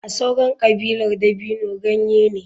A sauran kabilar dabino ganye ne.